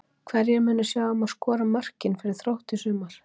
Hverjir munu sjá um að skora mörkin fyrir Þrótt í sumar?